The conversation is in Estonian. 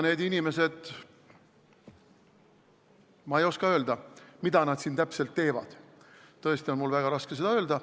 Ma ei oska öelda, mida need inimesed siin täpselt teevad, mul on seda tõesti väga raske öelda.